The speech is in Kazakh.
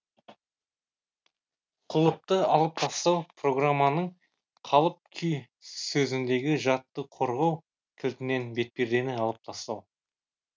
құлыпты алып тастау программаның қалып күй сөзіндегі жадты қорғау кілтінен бетпердені алып тастау